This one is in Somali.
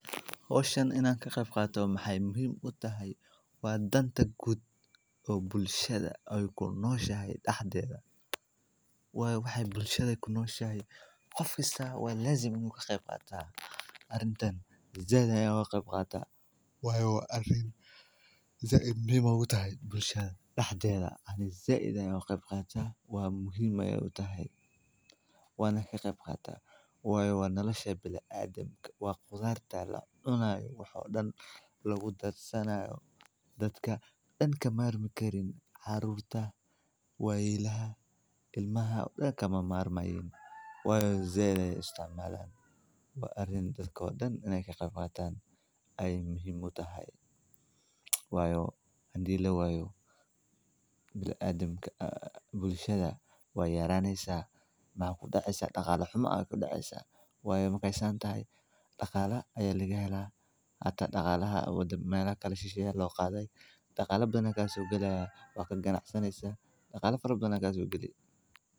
Hoooshan inaan ka qabqatao maxay muhiim u tahay, waa danta guud oo bulshada ay ku nooshahay dhaxdeeda. Waayo waxay bulshada ku nooshahay. Qof kasta waa laazim inuu ka qabqataa haddan taan. Zaadaya qabqata waayo arrin za'di miima u tahay bulshada dhaxdeeda ahna za'dan ayaa qabqata waa muhiima u tahay wana ka qabqata waayo wana la shabeeyaa bil aadamka waa khudaan taala dhanayu wuxuu dhana lagu daadsanayo dadka dhan ka maarmi karin caruurta waayilaha ilmaha dhaanka ma maarmayn waya zeedaya isticmaalan wa arin dadka wadan iney ka qabqataan ay muhiim u tahay waayo haddii la waayo bil aadamka aa bulshada wa yaraanaysa ma ku dhacaysa dhaqaale xuma ayo ku dhacaysa waayo ma ka aysan tahay dhaqaale ayaa laga helaa hata dhaqaalaha awooda meelo kale shisha loo qaaday dhaqaal badankaas uu gelaya waa kadib ganacsan ah dhaqaal farabadana kasoo geli.